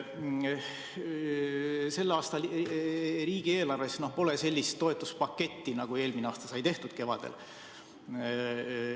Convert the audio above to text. Selle aasta riigieelarves pole sellist toetuspaketti, nagu eelmine aasta sai tehtud kevadel.